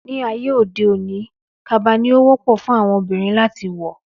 Ní ayé òde òní, kaba ni ó wọ́pọ̀ fún àwọn Obìnrin láti wọ̀